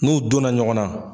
N'u donna ɲɔgɔnna